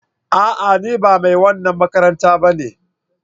A'a! Ni ba mai wannan makaranta ba ne.